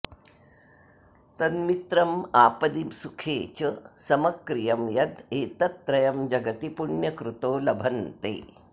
तन्मित्रमापदि सुखे च समक्रियं यद् एतत् त्रयं जगति पुण्यकृतो लभन्ते